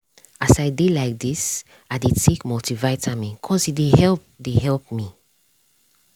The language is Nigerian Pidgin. as i dey like this i dey take multivitamin cause e dey help dey help me.